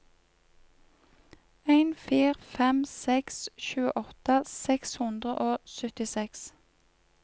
en fire fem seks tjueåtte seks hundre og syttiseks